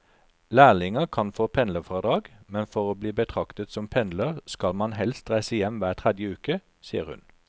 Lærlinger kan få pendlerfradrag, men for å bli betraktet som pendler skal man helst reise hjem hver tredje uke, sier hun.